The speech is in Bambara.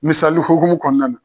Misali hokumun kɔnɔna na.